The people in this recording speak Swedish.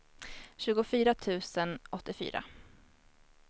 tjugofyra tusen åttiofyra